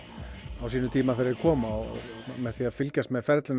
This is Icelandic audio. á sínum tíma þegar þeir koma og með því að fylgjast með ferlinu